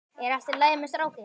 Er allt í lagi með strákinn?